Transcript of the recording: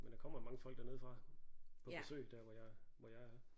Men der kommer mange folk dernede fra på besøg der hvor jeg hvor jeg er